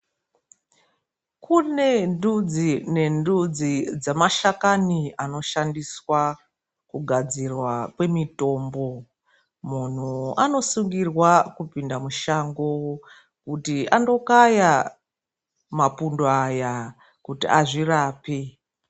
Kune ndudzi nendudzi dzemashakani anoshandiswa kugadzirwa kwemitombo. Munhu anosungirwa kupinda mushango kuti andokaya mapundo aya kuti azvirape.